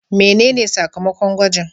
Menene sakamakon gwajin?